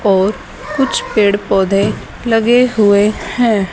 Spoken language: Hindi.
और कुछ पेड़ पौधे लगे हुए हैं।